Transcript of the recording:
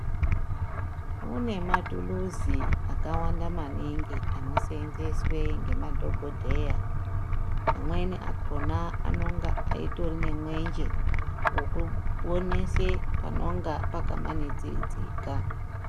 Kune matuluzi akawanda maningi anoseenzeswe ngemadhogodheya, amweni akhona anenga eitori nemwenje wekuonese panenge pakamanidzidzika.